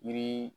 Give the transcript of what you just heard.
Yiri